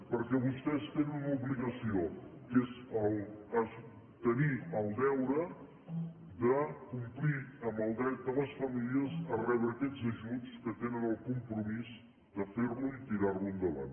perquè vostès tenen una obligació que és tenir el deure de complir amb el dret de les famílies a rebre aquests ajuts que tenen el com·promís de fer·ho i tirar·ho endavant